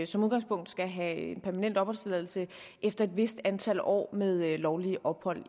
som udgangspunkt skal have permanent opholdstilladelse efter et vist antal år med lovligt ophold